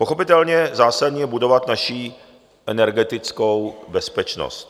Pochopitelně zásadní je budovat naši energetickou bezpečnost.